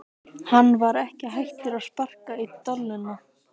Hann var ekki hættur að sparka í dolluna!